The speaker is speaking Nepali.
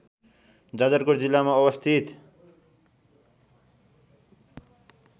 जाजरकोट जिल्लामा अवस्थित